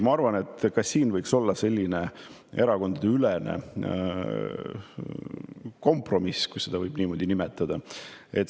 Ma arvan, et tegelikult võiks ka praegu olla see selline erakondadeülene kompromiss, kui seda võib niimoodi nimetada.